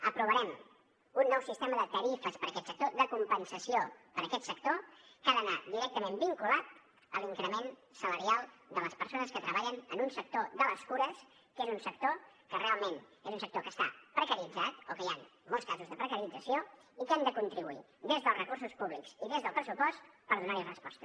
aprovarem un nou sistema de tarifes per a aquest sector de compensació que ha d’anar directament vinculat a l’increment salarial de les persones que treballen en un sector de les cures que és un sector que realment està precaritzat o que hi han molts casos de precarització i que hem de contribuir des dels recursos públics i des del pressupost per donar hi resposta